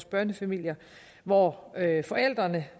børnefamilier hvor forældrene